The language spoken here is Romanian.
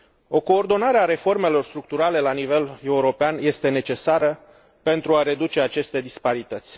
O coordonare a reformelor structurale la nivel european este necesară pentru a reduce aceste disparități.